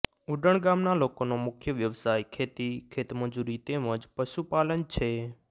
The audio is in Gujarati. ઉડણ ગામના લોકોનો મુખ્ય વ્યવસાય ખેતી ખેતમજૂરી તેમ જ પશુપાલન છે